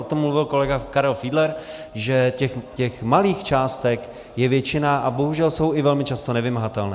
O tom mluvil kolega Karel Fiedler, že těch malých částek je většina a bohužel jsou i velmi často nevymahatelné.